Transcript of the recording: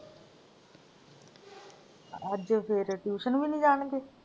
ਅੱਜ ਸਵੇਰੇ tuition ਵੀ ਨੀ ਜਾਣਗੇ